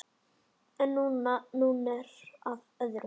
En nú að öðru.